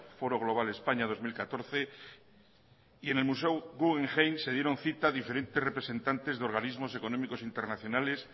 foro global españa dos mil catorce y en el museo guggenheim se dieron cita diferentes representantes de organismos económicos internacionales